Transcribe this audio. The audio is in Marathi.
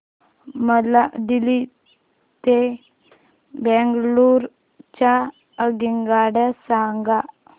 मला दिल्ली ते बंगळूरू च्या आगगाडया सांगा